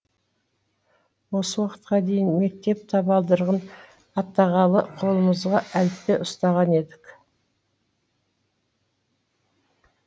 осы уақытқа дейін мектеп табалдырығын аттағалы қолымызға әліппе ұстаған едік